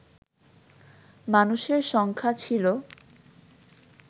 মানুষের সংখ্যা ছিল